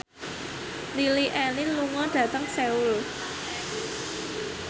Lily Allen lunga dhateng Seoul